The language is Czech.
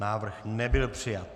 Návrh nebyl přijat.